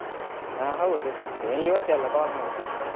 ಹ ಹೌದು. ನೀನು ಇವತ್ತೆ ಅಲ್ಲ call ಮಾಡಿದ್ದು?